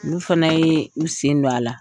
N' u fana ye u sen don a la.